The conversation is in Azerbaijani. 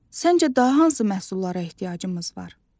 Səncə daha hansı məhsullara ehtiyacımız var?